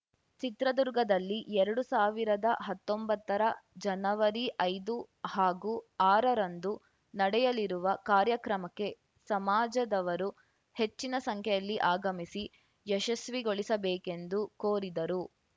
ಚಿತ್ರದುರ್ಗದಲ್ಲಿ ಎರಡು ಸಾವಿರದ ಹತ್ತೊಂಬತ್ತರ ಜನವರಿ ಐದು ಹಾಗೂ ಆರರಂದು ನಡೆಯಲಿರುವ ಕಾರ್ಯಕ್ರಮಕ್ಕೆ ಸಮಾಜದವರು ಹೆಚ್ಚಿನ ಸಂಖ್ಯೆಯಲ್ಲಿ ಆಗಮಿಸಿ ಯಶಸ್ವಿಗೊಳಿಸಬೇಕೆಂದು ಕೊರಿದರು